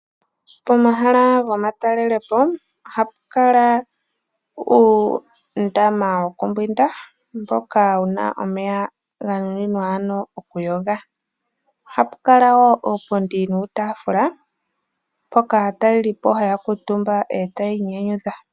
Pomahala gomatalelepo ohapu kala uundama wokumbwinda mboka wuna omeya ganuninwa ano okuyoga. Ohapu kala woo uupundi nuutaafula mpoka aatalelipo haya kuutumba ee tayi inyanyudha.